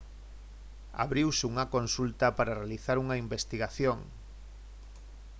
abriuse unha consulta para realizar unha investigación